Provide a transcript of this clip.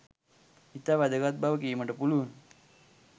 ඉතා වැදගත් බව කීමට පුළුවන.